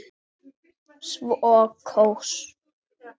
Svo koss.